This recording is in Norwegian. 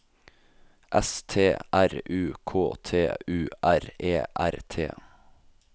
S T R U K T U R E R T